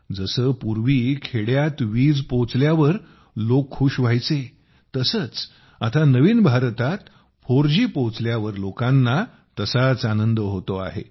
जसे पूर्वी कधी खेड्यात वीज पोहोचली तेव्हा लोक खुश झाले होते तसेच आता नवीन भारतात 4G पोहोचल्यावर लोकांना तसाच आनंद होतो आहे